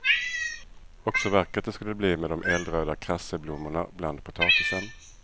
Och så vackert det skulle bli med de eldröda krasseblommorna bland potatisen.